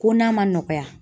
Ko n'a ma nɔgɔya